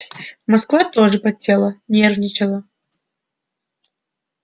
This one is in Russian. москва тоже потела нервничала